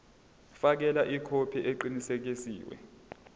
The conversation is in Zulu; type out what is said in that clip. fakela ikhophi eqinisekisiwe